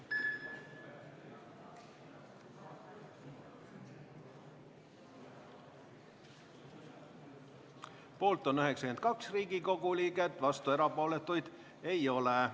Hääletustulemused Poolt on 92 Riigikogu liiget, vastuolijaid ja erapooletuid ei ole.